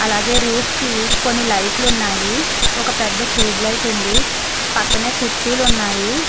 అలాగే రూఫ్ కి కొన్ని లైట్లు ఉన్నాయి ఒక పెద్ద చూబ్ లైట్ ఉంది పక్కనే కుర్చీలు ఉన్నాయి.